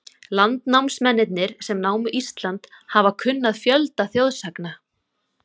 Landnámsmennirnir, sem námu Ísland, hafa kunnað fjölda þjóðsagna.